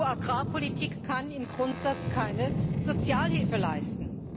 EU Agrarpolitik kann im Grundsatz keine Sozialhilfe leisten.